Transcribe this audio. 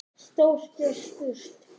Stórt er spurt.